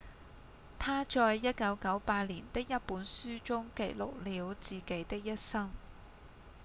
他在1998年的一本書中記錄了自己的一生